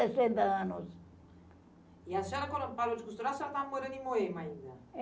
Sessenta anos. E a senhora, quando parou de costurar, a senhora estava morando em Moema ainda?